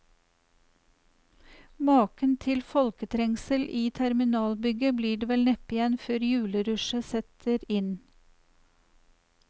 Maken til folketrengsel i terminalbygget blir det vel neppe igjen før julerushet setter inn.